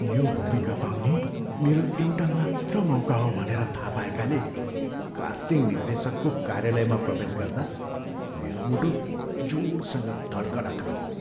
यो भूमिका पाउने मेरो एउटा मात्र मौका हो भनेर थाहा पाएकाले कास्टिङ निर्देशकको कार्यालयमा प्रवेश गर्दा मेरो मुटु जोडसँग धड्कन थाल्यो।